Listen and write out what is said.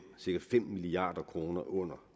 cirka fem milliard kroner under